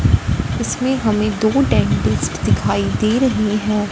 इसमें हमें दो डेंटिस्ट दिखाई दे रहे हैं।